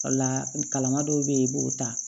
O la kalanma dɔw bɛ yen i b'o ta